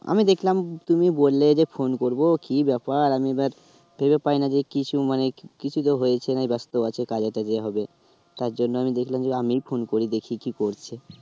আমি দেখলাম তুমি বললে যে phone করবো কি ব্যাপার আমি আবার ভেবে পাই না যে কিছু মানে কিছু তো হয়েছে নয় ব্যস্ত আছে কাজে টাজে হবে তার জন্য আমি দেখলাম আমি phone করে দেখি কি করছে